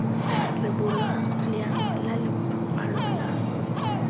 rebolwa leano la lokwalo lwa